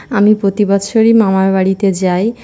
আমি প্রতি বছররেই মামার বাড়িতে যাই।